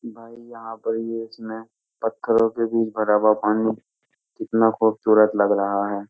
भाई यहाँ पर ये इसमें पत्थरों के बीच भरा हुआ पानी कितना खुबसूरत लग रहा है।